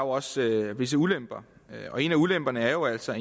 også visse ulemper og en af ulemperne er jo altså